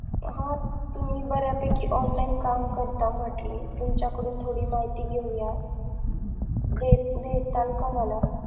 हा तुम्ही बऱ्या पैकी online काम करता म्हंटले तुमच्याकडून थोडी माहिती घेऊया दे देताल का मला?